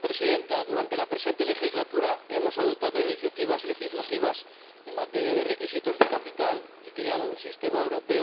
Presidenta, durante la presente legislatura hemos adoptado iniciativas legislativas en materia de requisitos de capital y creado un Sistema Europeo de Supervisión Financiera.